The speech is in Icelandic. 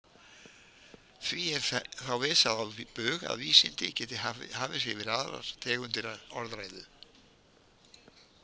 Því er þá vísað á bug að vísindi geti hafið sig yfir aðrar tegundir orðræðu.